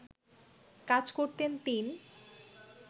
কাজ করতেন তিন